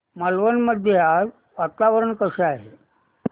मालवण मध्ये आज वातावरण कसे आहे